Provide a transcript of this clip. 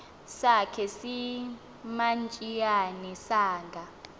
sakhe simantshiyane sanga